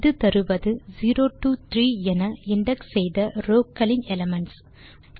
இது தருவது 0 டோ 3 என இண்டெக்ஸ் செய்த ரோவ் க்களின் எலிமென்ட்ஸ்